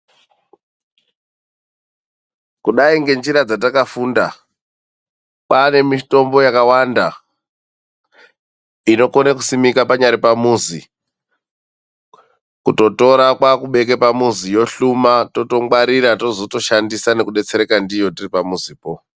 KUDAI NGENZIRA DZATAKAFUNDA KWAANE MITOMBO YAKAWANDA INOKONE KUSIMIKA PANYARI PAMUZI KUTOTORA KWAAKUBEKE PAMUZI ,YOHLUMA TOTONGWARIRA TOZOTOBATSIRIKA NDIYO TIRIPAMUZIPO.